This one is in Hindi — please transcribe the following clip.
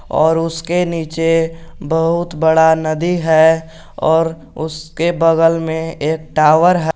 और उसके नीचे बहुत बड़ा नदी है और उसके बगल में एक टावर है।